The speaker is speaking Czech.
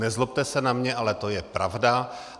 Nezlobte se na mě, ale to je pravda.